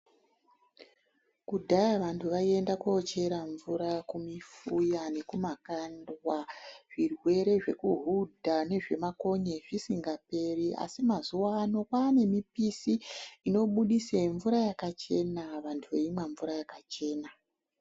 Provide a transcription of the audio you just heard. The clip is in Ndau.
Kudhaya vantu vaienda kochera mvura kumifuya nekumakandwa zvirwere zvekuhudha nezvemakonye zvisingaoeribasi mazuwano kwane mipisi inobudisa mvura yakachena vantu veimwa mvura yakachena.